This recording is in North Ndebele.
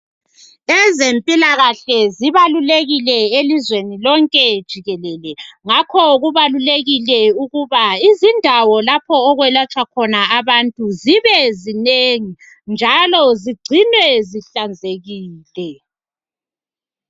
Ezempilakahle zibalulekile elizweni lonke jikelele. Ngakho kubalulekile ukuthi izindawo lapha okwelatshwa khona abantu zibezinengi, njalo zigcinwe zihlanzekile.